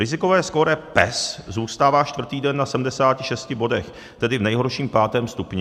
Rizikové skóre PES zůstává čtvrtý den na 76 bodech, tedy v nejhorším, pátém stupni.